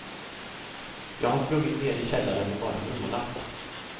Jag har sprungit nere i källaren och bara vrålat.